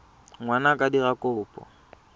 ngwana a ka dira kopo